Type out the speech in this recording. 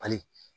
Ali